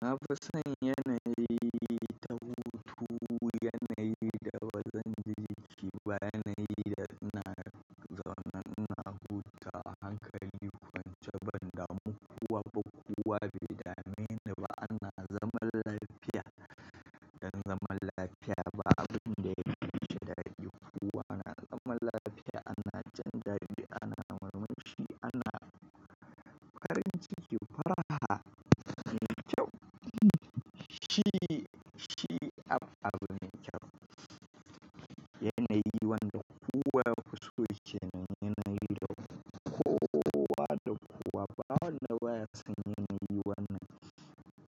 Na fi son yanayi ta hutu, yanayi da bazan ji jiki ba, yanayi da ina zaune ina hutawa hankali kwance bandamu kowa ba, kowa baida mene ba ana zaman lafiya. Dan zaman lafiya ba abin da yafishi daɗi. Kowa ana zaman lafiya ana jin dadi ana murmushi ana farin ciki, faraha. Ni kyau. Shi, shi ab, abin kyau. Yanayi wanda kowa yafiso kenan, yanayi da kowa da kowa ba wanda baya son yanayi wannan.